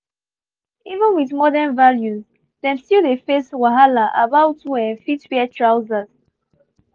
even with modern values them still dey face wahala about who um fit wear trousers